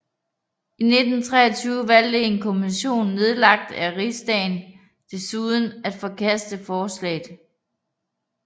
I 1923 valgte en kommission nedlagt af Rigsdagen desuden at forkaste forslaget